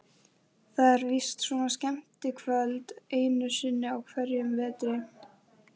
Það er víst svona skemmtikvöld einu sinni á hverjum vetri.